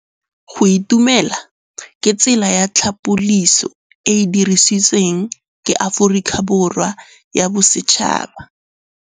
Go itumela ke tsela ya tlhapolisô e e dirisitsweng ke Aforika Borwa ya Bosetšhaba.